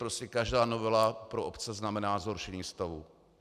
Prostě každá novela pro obce znamená zhoršení stavu.